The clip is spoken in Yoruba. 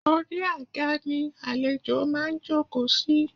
Orí àga ni àlejò máa ń jòkó sí